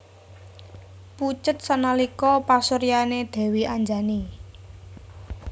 Pucet sanalika pasuryané Dèwi Anjani